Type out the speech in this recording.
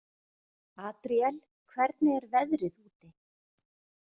Adríel, hvernig er veðrið úti?